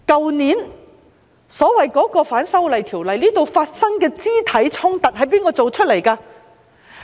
去年，所謂反修訂條例引發的肢體衝突，是由誰造成的呢？